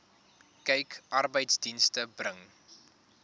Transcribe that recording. kyk arbeidsdienste bring